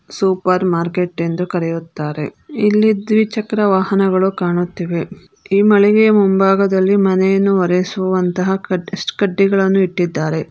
Super market ಎಂದು ಕರೆಯುತ್ತಾರೆ ಇಲ್ಲಿ ದ್ವಿಚಕ್ರ ವಾಹನಗಳು ಕಾಣುತ್ತಿವೆ ಈ ಮಳಿಗೆಯಲ್ಲಿ ಮುಂಭಾಗದಲ್ಲಿ ಮನೆಯನ್ನು ಒರೆಸುವಂತಹ ಕಟಸ್ಟ್ ಕಡ್ಡಿಗಳನ್ನ ಇಟ್ಟಿದ್ದಾರೆ.